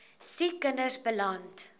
siek kinders beland